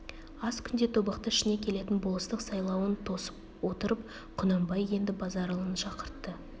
аз күнде тобықты ішіне келетін болыстық сайлауын тосып отырып құнанбай енді базаралыны шақыртты